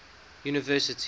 university